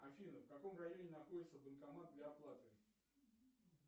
афина в каком районе находится банкомат для оплаты